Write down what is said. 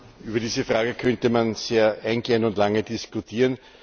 Über diese Frage könnte man sehr eingehend und lange diskutieren.